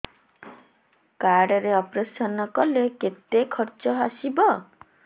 card ରେ operation କଲେ କେତେ ଖର୍ଚ ଆସିବ